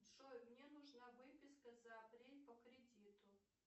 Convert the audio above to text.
джой мне нужна выписка за апрель по кредиту